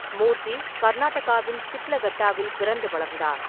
மூர்த்தி கர்நாடகாவின் ஷிட்லகட்டாவில் பிறந்து வளர்ந்தார்.